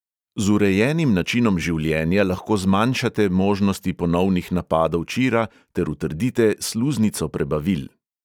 Z urejenim načinom življenja lahko zmanjšate možnosti ponovnih napadov čira ter utrdite sluznico prebavil.